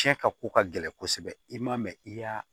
Tiɲɛ ka ko ka gɛlɛn kosɛbɛ i ma mɛ i y'a